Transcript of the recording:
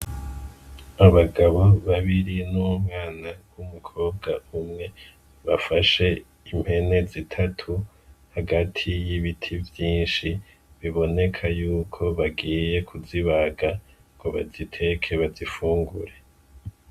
N'abagabo babiri n'umwana w'umukobwa umwe bafashe impene zitatu hagati y'ibiti vyishi biboneka yuko bagiye kuzibaga ngo baziteke bazifungure.